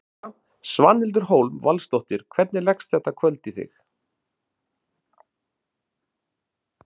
Þóra: Svanhildur Hólm Valsdóttir, hvernig leggst kvöldið í þig?